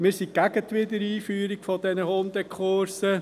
Wir sind gegen die Wiedereinführung dieser Hundekurse.